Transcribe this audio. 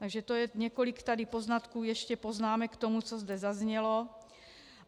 Takže to je několik tady poznatků ještě, poznámek k tomu, co zde zaznělo.